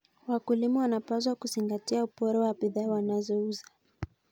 Wakulima wanapaswa kuzingatia ubora wa bidhaa wanazouza.